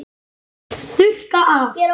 Þurrka af.